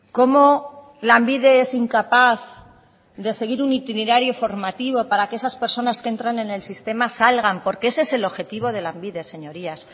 cómo lanbide es incapaz de seguir un itinerario formativo para que esas personas que entran en el sistema salgan porque ese es el objetivo de lanbide señorías